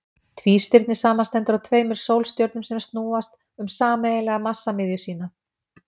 Tvístirni samanstendur af tveimur sólstjörnum sem snúast um sameiginlega massamiðju sína.